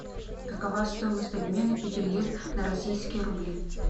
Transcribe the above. какова стоимость обмена пяти лир на российские рубли